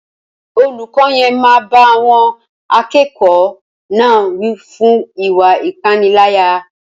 Olùkọ́ yen máa báá àwọn akẹ́kọ̀ọ́ náà wí fún ìwá ìpaniláyà